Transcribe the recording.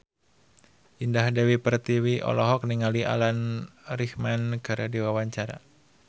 Indah Dewi Pertiwi olohok ningali Alan Rickman keur diwawancara